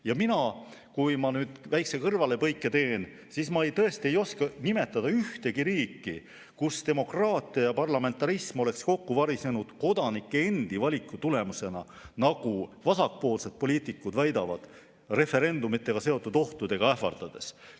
Ja mina, kui ma nüüd väikese kõrvalepõike teen, tõesti ei oska nimetada ühtegi riiki, kus demokraatia ja parlamentarism oleks kokku varisenud kodanike endi valiku tulemusena, nagu vasakpoolsed poliitikud väidavad, referendumitega seotud ohtudega ähvardades.